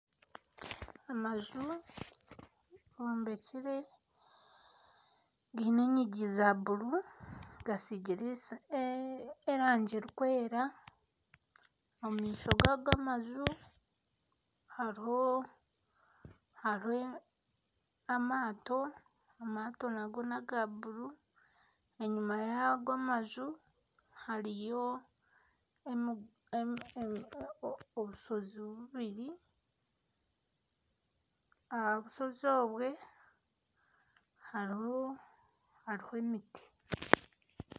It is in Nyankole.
Amaju gombekire gaine enyingi za buru gasiigire erangi erikwera, omu maisho gaga amaju hariho amato, amato nago n'aga buru enyima yago amaju hariyo obushozi bubiri aha bushozi obwo hariho emiti